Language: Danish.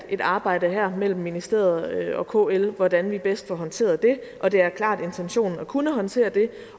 et arbejde her mellem ministeriet og kl hvordan vi bedst får håndteret det og det er klart intentionen at kunne håndtere det